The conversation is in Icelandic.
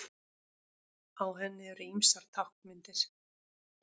Á henni eru ýmsar táknmyndir.